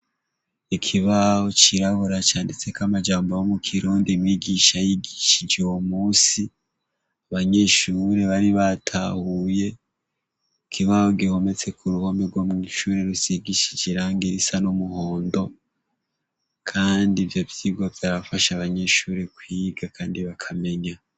Ikibaho cirabura canditseko amajambo yomukirundi umwigisha yigishije uwomusi abanyeshure bari batahuye ikibaho gihometse kuruhome gomwishure rusigishije irangi risa numuhondo kandi ivyovyirwa vyafasha abanyeshure kwiga kandi bakamenya